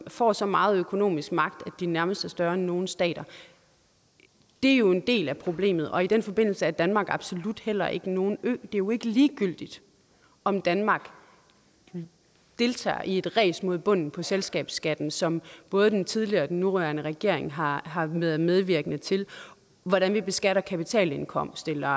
får så meget økonomisk magt at de nærmest er større end nogle stater det er jo en del af problemet og i den forbindelse er danmark absolut heller ikke nogen ø det er jo ikke ligegyldigt om danmark deltager i et ræs mod bunden på selskabsskatten som både den tidligere og den nuværende regering har har været medvirkende til hvordan vi beskatter kapitalindkomst eller